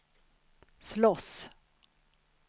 slåss